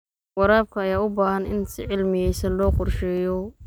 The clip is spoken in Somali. Waraabka ayaa u baahan in si cilmiyeysan loo qorsheeyo.